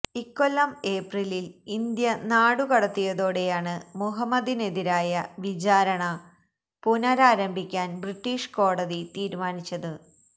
ഇക്കൊല്ലം ഏപ്രിലിൽ ഇന്ത്യ നാടുകടത്തിയതോടെയാണ് മുഹമ്മദിനെതിരായ വിചാരണ പുനരാരംഭിക്കാൻ ബ്രിട്ടീഷ് കോടതി തീരുമാനിച്ചത്